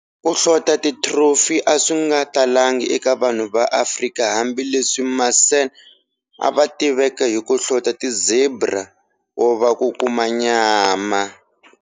Ku hlota ti trophy aswinga talanga eka vanhu va Afrika hambi leswi ma San ava tiveka hiku hlota ti zebra kuva va kuma nyama.